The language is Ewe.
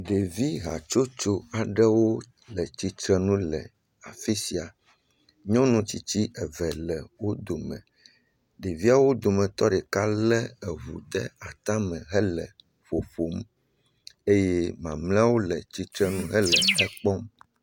Ɖevi hatsotso aɖewo le tsitre nu le afi sia. Nyɔnu tsitsi eve le wo dome. Ɖeviawo dometɔ ɖeka le ŋu ɖe atame hele ƒoƒom eye mamlɛawo le tsitre nu hele ekpɔm.